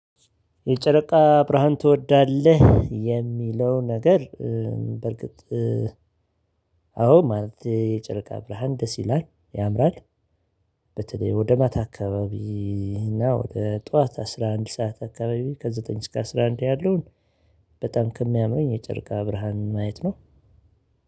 የጨረቃ ብርሃን ትወዳለህ የሚለው ነገር? በርግጥ። አዎ ማለት የጨረቃ ብርሃን ደስ ይላል ያምራል። በተለይ ወደ ማታ አካባቢ። እና ወደ ጠዋት አስራ አንድ ሰዓት አካባቢ ከዘጠኝ እስከ አስራ አንድ ያለውን። በጣም ከሚያምረኝ የጨርቃ ብርሃን ማየት ነው።